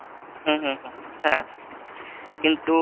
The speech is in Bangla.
হুম হুম হুম হ্যাঁ কিন্তু,